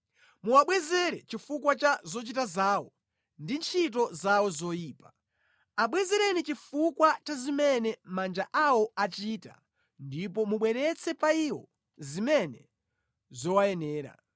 Muwabwezere chifukwa cha zochita zawo ndi ntchito zawo zoyipa; abwezereni chifuwa cha zimene manja awo achita ndipo mubweretse pa iwo zimene zowayenera.